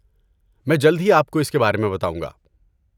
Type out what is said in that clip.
میں جلد ہی آپ کو اس کے بارے میں بتاؤں گا۔